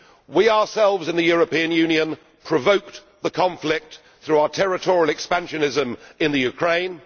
We ourselves in the European Union provoked the conflict through our territorial expansionism in Ukraine.